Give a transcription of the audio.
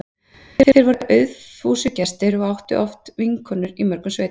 Þeir voru aufúsugestir og áttu oft vinkonur í mörgum sveitum.